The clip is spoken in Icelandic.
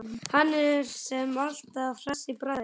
Hann sem er alltaf hress í bragði.